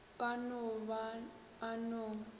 ka no ba o na